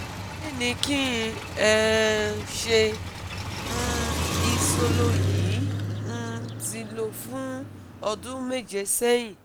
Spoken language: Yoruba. kini kin um se? um Isolo yi um ti lo fun odun meje sehin